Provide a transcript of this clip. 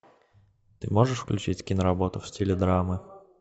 ты можешь включить киноработу в стиле драмы